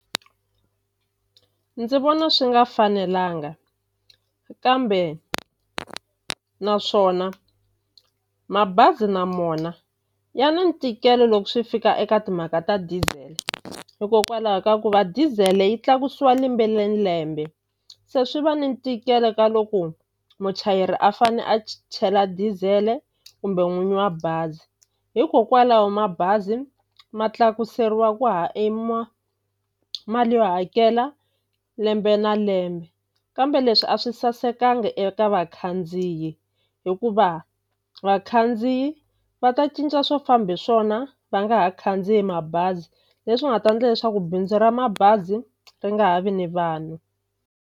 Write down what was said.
Ndzi vona swi nga fanelanga kambe naswona mabazi na mona ya na ntikelo loko swi fika eka timhaka ta diesel hikokwalaho ka ku va diesel yi tlakusiwa lembe ni lembe se swi va ni ntikelo ka loko muchayeri a fane a chela diesel-e kumbe n'winyi wa bazi hikokwalaho mabazi ma tlakuseriwa ku mali yo hakela lembe na lembe kambe leswi a swi sasekanga eka vakhandziyi hikuva vakhandziyi va ta cinca swo famba hi swona va nga ha khandziyi mabazi leswi nga ta endla leswaku bindzu ra mabazi ri nga ha vi ni vanhu.